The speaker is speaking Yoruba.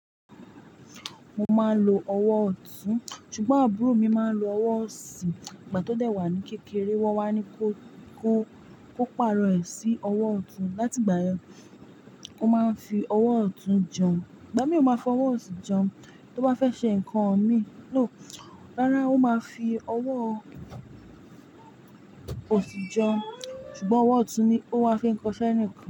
Mo máa ń lo ọwọ́ ọ̀tún, ṣùgbọ́n àbúrò mi máa ń lo ọwọ́ òsì. Ìgbà tó dẹ̀ wà ní kékeré, wọ́n wá ní kó, kó, kó pàrọ̀ ẹ̀ sí ọwọ́ ọ̀tún. Látìgbà yen, ó máa ń fi ọwọ́ ọ̀tún jẹun, ìgbà mìí ò máa fi ọwọ́ òsì jẹun. Tó bá fẹ́ ṣe nǹkan mi, no, rárá ó máa fi ọwọ́ òsì jẹun. Ṣùgbọ́n ọwọ́ ọ̀tún ni ó wá fi ń kọṣẹ́ nikan.